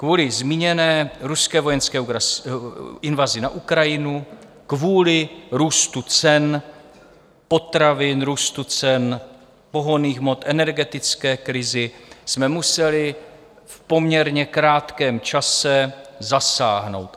Kvůli zmíněné ruské vojenské invazi na Ukrajinu, kvůli růstu cen potravin, růstu cen pohonných hmot, energetické krizi jsme museli v poměrně krátkém čase zasáhnout.